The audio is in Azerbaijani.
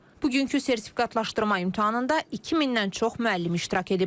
Bugünkü sertifikatlaşdırma imtahanında 2000-dən çox müəllim iştirak edib.